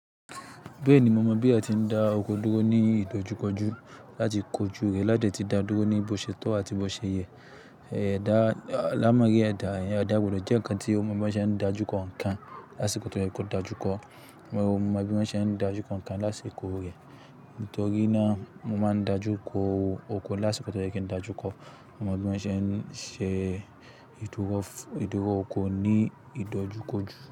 Bẹ́ẹ̀ni, mo mọ bí a ti ń da oko dúró ní ìdojúkọjú láti kojú rẹ̀ láde ti da dúró ní bo ṣe tọ́ àti bi o ṣe yẹ̀. Ẹ̀dá-- àlámọrí ẹ̀dà, ẹ̀dà gbodò jẹ́ ǹkan tí ó mọ bí wọ́n ṣe ń dájú kọ ǹkan lásìkò tó yẹ kó dájúkọ. Mo mọ bí wọ́n ṣe ń dájú kọ ǹkan lásìkò rẹ̀ nítorí náà mo máa ń dájú ko oko lásìkò tó yẹ kí n dájúkọ. Mo mọ bí wọ́n ṣe ń ṣe ìdúró, ìdúró oko ní ìdojúkọjú.